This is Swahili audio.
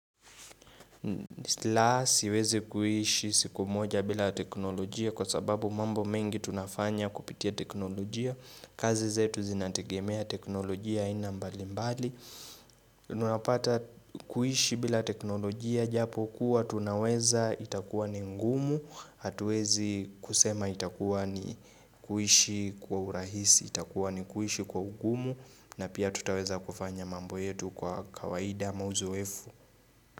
La siwezi kuishi siku moja bila teknolojia kwa sababu mambo mengi tunafanya kupitia teknolojia kazi zetu zinategemea teknolojia aina mbali mbali tunapata kuiishi bila teknolojia japo kuwa tunaweza itakuwa ni ngumu Atuwezi kusema itakuwa ni kuishi kwa urahisi, itakuwa ni kuishi kwa ugumu na pia tutaweza kufanya mambo yetu kwa kawaida mauzoefu.